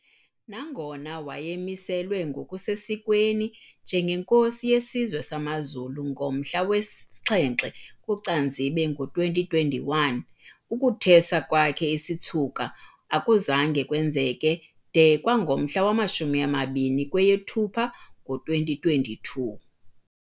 Nangona waye wamiselwa ngokusesikweni njengenkosi yesizwe samaZulu ngomhla we-7 kuCanzibe ngo2021, ukuthweswa kwakhe isitshuka akuzange kwenzeke de kwangomhla wamashumi amabini kweyeThupha ngo-2022.